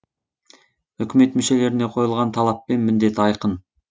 үкімет мүшелеріне қойылған талап пен міндет айқын